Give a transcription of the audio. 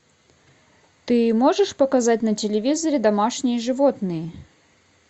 ты можешь показать на телевизоре домашние животные